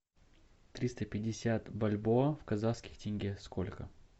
триста пятьдесят бальбоа в казахских тенге сколько